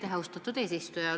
Aitäh, austatud eesistuja!